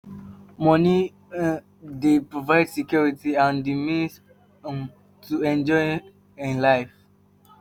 Money um dey provide security and the means um to fit enjoy um life